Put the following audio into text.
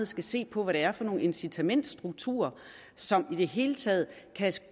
skal se på hvad det er for nogle incitamentsstrukturer som i det hele taget kan